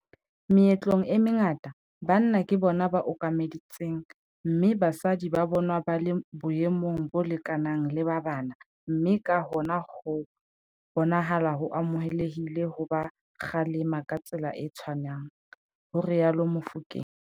"Meetlong e mengata, banna ke bona ba okametseng mme basadi ba bonwa ba le boemong bo lekanang le ba bana mme ka hona ho bonahala ho amohelehile ho ba kgalema ka tsela e tshwanang," ho rialo Mofokeng.